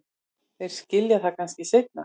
Þeir skilja það kannski seinna.